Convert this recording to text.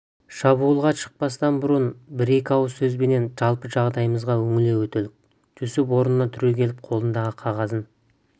шабуылға шықпастан бұрын бір-екі ауыз сөзбенен жалпы жағдайымызға үңіле өтелік жүсіп орнынан түрегеліп қолындағы қағазын